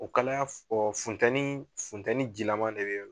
O kalaya fun funtɛni funtɛni jilama de be yen nɔ